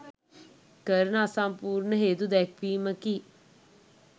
කරන අසම්පූර්ණ හේතු දැක්වීමකි.